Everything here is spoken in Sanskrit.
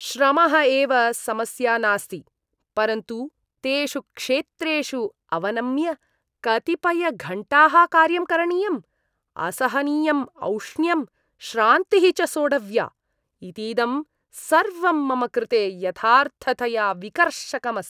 श्रमः एव समस्या नास्ति, परन्तु तेषु क्षेत्रेषु अवनम्य कतिपयघण्टाः कार्यं करणीयम्, असहनीयम् औष्ण्यं, श्रान्तिः च सोढव्या, इतीदं सर्वं मम कृते यथार्थतया विकर्षकम् अस्ति।